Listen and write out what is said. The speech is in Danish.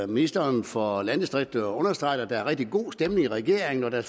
ministeren for landdistrikterne understreget at der er en rigtige god stemning i regeringen og at der